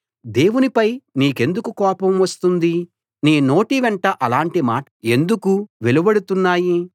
దేవునిపై నీకెందుకు కోపం వస్తుంది నీ నోట వెంట అలాంటి మాటలు ఎందుకు వెలువడుతున్నాయి